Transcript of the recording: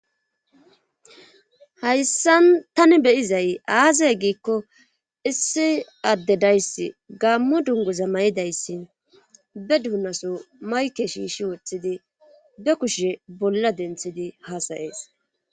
Hayssan tani beyizay aazay giikko issi adde dayss gaammo dungoza may7idayssi be duunaso mayke shiishi woththidi be kushe bolla denthidi haasayees.